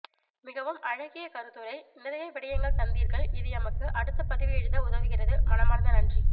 மிகவும் அழகிய கருத்துரை நிறைய விடயங்கள் தந்தீர்கள் இது எமக்கு அடுத்த பதிவு எழுத உதவுகிறது மனமார்ந்த நன்றி